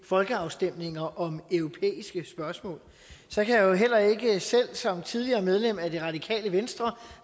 folkeafstemninger om europæiske spørgsmål så kan jeg jo heller ikke selv som tidligere medlem af det radikale venstre